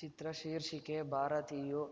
ಚಿತ್ರ ಶೀರ್ಷಿಕೆ ಭಾರತೀಯು